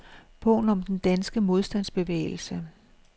Bogen om den danske modstandsbevægelse.